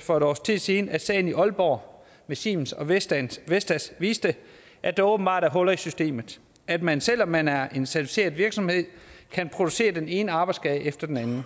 for et års tid siden at sagen i aalborg med siemens og vestas vestas viste at der åbenbart er huller i systemet at man selv om man er en certificeret virksomhed kan producere den ene arbejdsskade efter den anden